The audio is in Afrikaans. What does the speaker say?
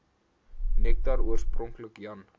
nektar oorspronklik jan